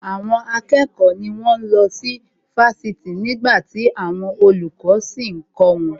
Àwọn akẹ́kọ̀ọ́ ni wón ń lọ sí Fásitì nígbàtí àwọn olùkọ́ sì ń kọ́ wọn